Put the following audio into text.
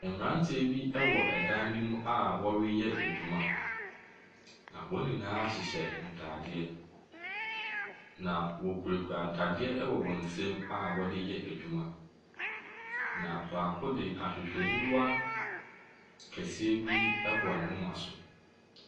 Mmaranteɛ bi ɛwɔ dan bi mu a ɔreyɛ adwuma. Na wɔn nyinaa hyehyɛ ntaadeɛ. Na ɔkurakura nnadeɛ wɔ wɔnsam a ɔdereyɛ adwuma. Na baako deɛ ahwehwɛniwa kɛseɛ bi bɔ ne momma so.